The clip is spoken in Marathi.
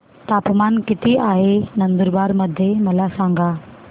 तापमान किता आहे नंदुरबार मध्ये मला सांगा